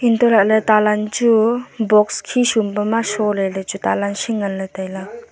untoley talan chu box khesum pe ma shole le chu talan shi ngan le tailey.